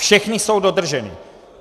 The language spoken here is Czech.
Všechny jsou dodrženy.